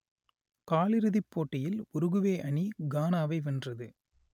காலிறுதிப் போட்டியில் உருகுவே அணி கானாவை வென்றது